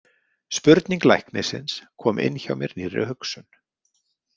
Spurning læknisins kom inn hjá mér nýrri hugsun.